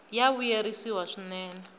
ya vuyerisa swinene